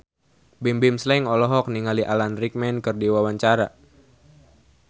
Bimbim Slank olohok ningali Alan Rickman keur diwawancara